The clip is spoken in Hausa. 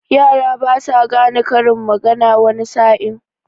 Yara basa gane karin magana wani sa'in.